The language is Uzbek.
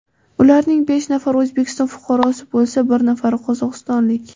Ularning besh nafari O‘zbekiston fuqarosi bo‘lsa, bir nafari qozog‘istonlik.